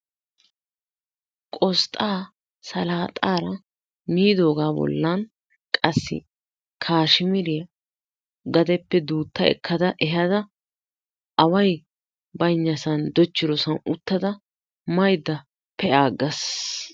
Qosxxaa salaaxaara miidoogaa bollan qassi kaasamuriya gadeppe duutta ekka ehaada awayi baynnasan dochchidosan uttada maydda pe"aagas.